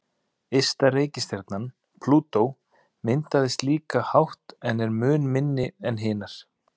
Ysta reikistjarnan, Plútó, myndaðist á líkan hátt en er mun minni en hinar.